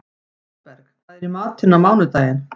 Svanberg, hvað er í matinn á mánudaginn?